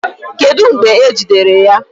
Kedu mgbe e jidere ya?